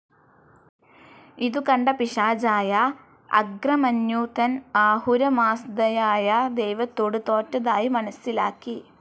ഇതുകണ്ട പിശാചായ അങ്ക്രമന്യു താൻ ആഹുരമാസ്ധയായ ദൈവത്തോട് തോറ്റതായി മനസ്സിലാക്കി.